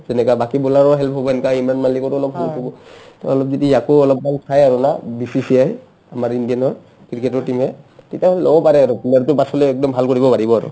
যেনেকা বাকী bowler ৰো help হ'ব এনকা ইমৰান মাল্লিকৰো অলপ help হ'ব তৌ যদি অলপমান ইয়াকও আকৌ অলপ চাই আৰু BCCA য়ে আমাৰ ইণ্ডিয়াৰ cricket team য়ে তিতাহ'লে ল'ব পাৰে আৰু পাছলে একদম ভাল কৰিব পাৰিব আৰু